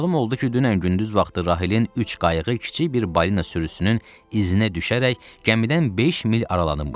Məlum oldu ki, dünən gündüz vaxtı Rahilin üç qayığı kiçik bir balina sürüsünün izinə düşərək gəmidən beş mil aralanmış.